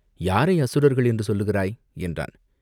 "யாரை அசுரர்கள் என்று சொல்லுகிறாய்?" என்றான்.